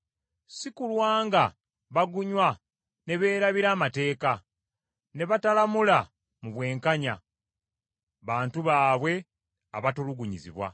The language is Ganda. si kulwa nga bagunywa ne beerabira amateeka, ne batalamula mu bwenkanya abantu baabwe abatulugunyizibwa.